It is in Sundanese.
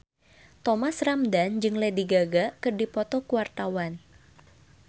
Thomas Ramdhan jeung Lady Gaga keur dipoto ku wartawan